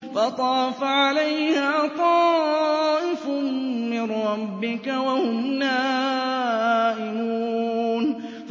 فَطَافَ عَلَيْهَا طَائِفٌ مِّن رَّبِّكَ وَهُمْ نَائِمُونَ